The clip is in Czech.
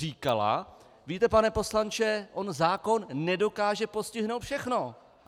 Říkala, víte, pane poslanče, on zákon nedokáže postihnout všechno.